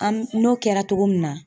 An n'o kɛra cogo min na